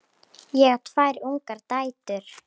Ég á tvær ungar dætur.